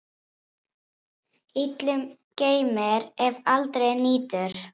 Illum geymir, ef aldrei nýtur.